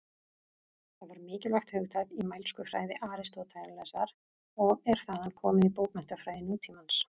Það var mikilvægt hugtak í mælskufræði Aristótelesar og er þaðan komið í bókmenntafræði nútímans.